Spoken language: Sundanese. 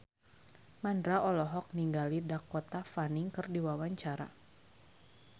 Mandra olohok ningali Dakota Fanning keur diwawancara